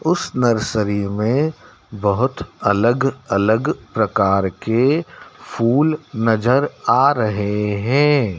उसे नर्सरी में बहोत अलग अलग प्रकार के फूल नजर आ रहे हैं।